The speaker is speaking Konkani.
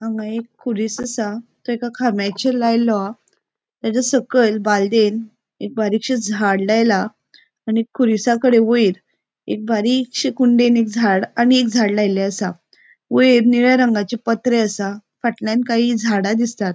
हांगा एक खुरिस आसा तेका खामयाचेर लायलोहा तेचा सकयल बालदेन एक बरिक्शे झाड लायला आणि खुरिसाकडे वयर एक बारिक्शे कुंडेन एक झाड आणि एक झाड लायले आसा वयर निळ्या रंगाचे पत्रे आसा पटल्याण काही झाडा दिसतात.